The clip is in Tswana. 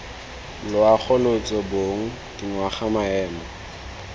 loago lotso bong dingwaga maemo